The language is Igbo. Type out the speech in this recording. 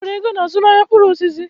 Enwere ego na azụmaahịa mkpụrụ osisi.